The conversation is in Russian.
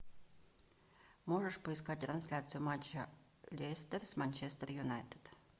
можешь поискать трансляцию матча лестер с манчестер юнайтед